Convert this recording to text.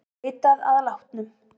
Leitað að látnum